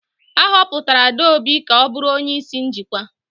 A họpụtara Adaobi ka ọ bụrụ onye isi njikwa.